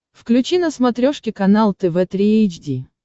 включи на смотрешке канал тв три эйч ди